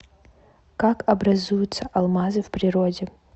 как образуются алмазы в природе